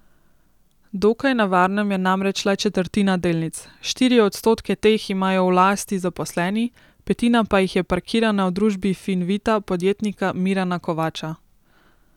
Dokaj na varnem je namreč le četrtina delnic, štiri odstotke teh imajo v lasti zaposleni, petina pa jih je parkirana v družbi Fin Vita podjetnika Mirana Kovača.